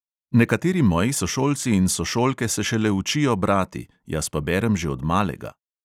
Nekateri moji sošolci in sošolke se šele učijo brati, jaz pa berem že od malega.